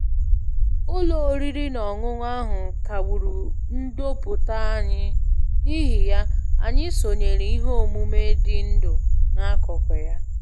Ụlọ oriri na ọṅụṅụ ahụ kagburu ndoputa anyị, n'ihi ya, anyị sonyeere ihe omume dị ndụ n'akụkụ ya